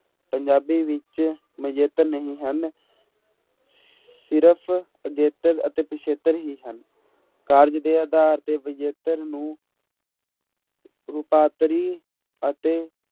ਪੰਜਾਬੀ ਵਿੱਚ ਮਜੇਤਰ ਨਹੀਂ ਹਨ ਸਿਰਫ਼ ਅਗੇਤਰ ਅਤੇ ਪਿੱਛੇਤਰ ਹੀ ਹਨ, ਕਾਰਜ ਦੇ ਆਧਾਰ ਤੇ ਵਿਜੇਤਰ ਨੂੰ ਰੂਪਾਂਤਰੀ ਅਤੇ